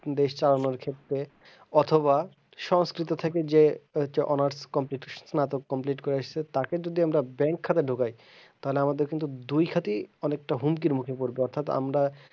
দেশ চালানোর ক্ষেত্রে অথবা সংস্কৃত থেকে যে honors complete স্নাতক complete করে এসেছে তাকে যদি আমরা bank খাতে ঢোকাই তাহলে আমাদের কিন্তু দুই খাতই মানে হুমকির মুখে পড়বে অর্থাৎ আমরা,